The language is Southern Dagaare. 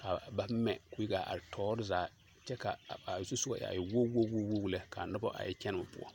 ka ba mɛ koo yi gaa are toore zaa kyɛ ka a zusugɔ a e woge woge woge lɛ kaa nobɔ a yɛ kyɛnoo poɔ.